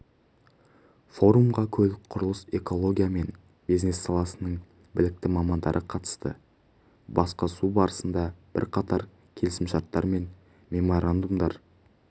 форумға көлік құрылыс экология мен бизнес саласының білікті мамандары қатысты басқосу барысында бірқатар келісімшарттар мен меморандумдар